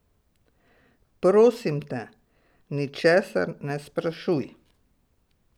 Prosim te, ničesar ne sprašuj.